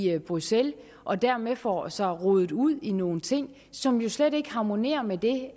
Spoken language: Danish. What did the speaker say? er i bruxelles og dermed får sig rodet ud i nogle ting som jo slet ikke harmonerer med det